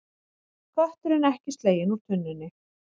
Kötturinn ekki sleginn úr tunnunni